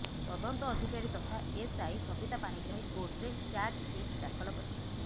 ତଦନ୍ତ ଅଧିକାରୀ ତଥା ଏସ୍ଆଇ ସବିତା ପାଣିଗ୍ରାହୀ କୋର୍ଟରେ ଚାର୍ଜଶିଟ ଦାଖଲ କରିଥିଲେ